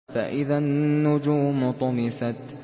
فَإِذَا النُّجُومُ طُمِسَتْ